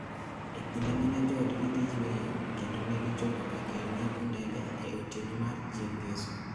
e kinde ma joodgi ne dhi yweyo kendo ne gichopo e kar ng’iepo ndege e otieno mar chieng' ngeso.